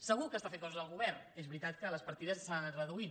segur que està fent coses el govern és veritat que les partides s’han anat reduint